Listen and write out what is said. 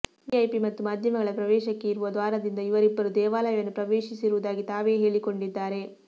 VIP ಮತ್ತು ಮಾಧ್ಯಮಗಳ ಪ್ರವೇಶಕ್ಕೆ ಇರುವ ದ್ವಾರದಿಂದ ಇವರಿಬ್ಬರು ದೇವಾಲಯವನ್ನು ಪ್ರವೇಶಿಸಿರುವುದಾಗಿ ತಾವೇ ಹೇಳಿಕೊಂಡಿದ್ದಾರೆ